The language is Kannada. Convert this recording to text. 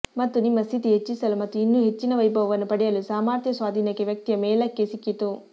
ಮತ್ತು ನಿಮ್ಮ ಸ್ಥಿತಿ ಹೆಚ್ಚಿಸಲು ಮತ್ತು ಇನ್ನೂ ಹೆಚ್ಚಿನ ವೈಭವವನ್ನು ಪಡೆಯಲು ಸಾಮರ್ಥ್ಯ ಸ್ವಾಧೀನಕ್ಕೆ ವ್ಯಕ್ತಿಯ ಮೇಲಕ್ಕೆ ಸಿಕ್ಕಿತು